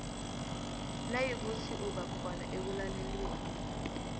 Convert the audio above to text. nayikuthi ubakhona ekulalelweni